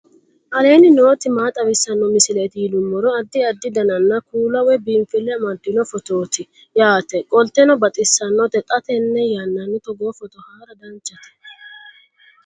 aleenni nooti maa xawisanno misileeti yinummoro addi addi dananna kuula woy biinfille amaddino footooti yaate qoltenno baxissannote xa tenne yannanni togoo footo haara danchate